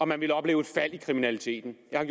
man ville opleve et fald i kriminaliteten jeg har